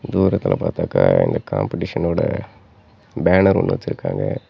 தூரத்துல பாத்தாக்க இந்த காம்பிடேஷன் ஓட பேனர் ஒன்னு வச்சிருக்காங்க.